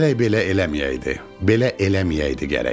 Gərək belə eləməyəydi, belə eləməyəydi gərək.